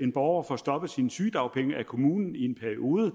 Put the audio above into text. en borger får stoppet sine sygedagpenge af kommunen i en periode